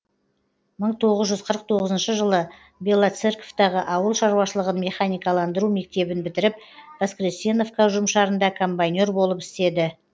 мың тоғыз жүз қырық тоғызыншы жылы белоцерковтағы ауыл шаруашылығын механикаландыру мектебін бітіріп воскресеновка ұжымшарында комбайнер болып істеді